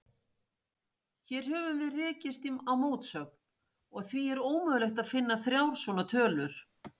Hér höfum við rekist á mótsögn, og því er ómögulegt að finna þrjár svona tölur.